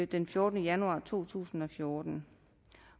den fjortende januar to tusind og fjorten